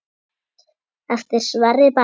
Eftir Sverri Berg.